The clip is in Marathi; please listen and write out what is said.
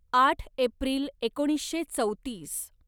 आठ एप्रिल एकोणीसशे चौतीस